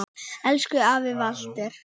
Elsku afi Walter.